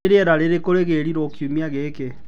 nĩ rĩera rĩrĩkũ rigirirwo kiumia gĩkĩ